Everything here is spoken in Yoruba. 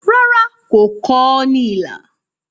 Rárá, kò kọ ọ́ ní ilà.